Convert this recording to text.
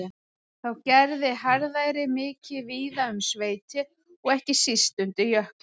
Þá gerði harðæri mikið víða um sveitir og ekki síst undir Jökli.